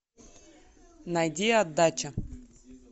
найди отдача